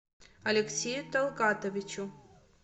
алексею талгатовичу